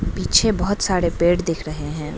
पीछे बहोत सारे पेड़ दिख रहे हैं।